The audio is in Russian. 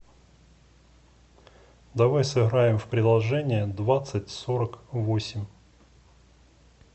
давай сыграем в приложение двадцать сорок восемь